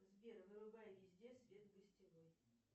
сбер вырубай везде свет в гостевой